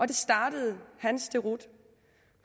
det startede hans deroute